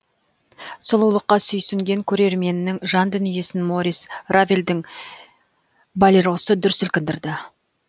сұлулыққа сүйсінген көрерменнің жан дүниесін морис равельдің болеросы дүр сілкіндірді